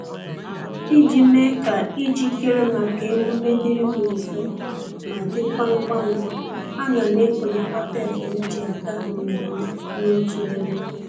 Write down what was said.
Iji mee ka ijikere maka emume dịrị m mfe ma dịkwa ngwa ngwa, ana m ekonyekọta efe m ji aga mmemme n'otu ebe